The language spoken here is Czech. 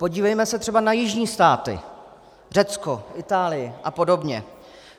Podívejme se třeba na jižní státy: Řecko, Itálii a podobně.